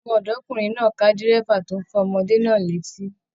Ọmọ-ọdọkunrin náà ká dírẹ́bà tó n fọ ọmọdé náà létí.